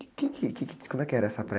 Que que, que que, como é que era essa praia?